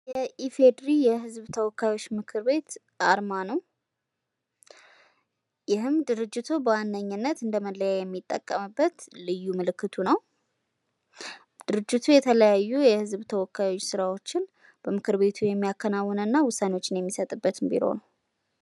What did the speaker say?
የኢፌዴሪ የህዝብ ተወካዮች ምክር ቤት አርማ ነው። ይህም ድርጅቱ በዋነኝነት እንደ መለያ የሚጠቀምበት ልዩ ምልክቱ ነው። ድርጅቱ የተለያዩ የህዝብ ተወካዮች ስራዎችን ምክር ቤቱ የሚያከናውንና ውሳኔዎችን የሚሰጥበት ቢሮ ነው።